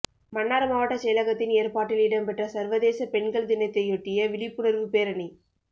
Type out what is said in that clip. மன்னார் மாவட்டச் செயலகத்தின் ஏற்பாட்டில் இடம் பெற்ற சர்வதேச பெண்கள் தினத்தையொட்டிய விழிர்ப்புனர்வு பேரணி